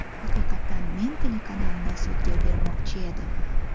Haqiqatan men telekanalni sudga bermoqchi edim.